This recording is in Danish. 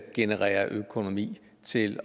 genererer økonomi til